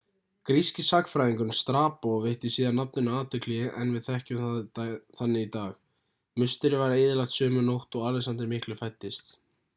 gríski sagnfræðingurinn strabo veitti síðar nafninu athygli en við þekkjum það þannig í dag musterið var eyðilagt sömu nótt og alexander mikli fæddist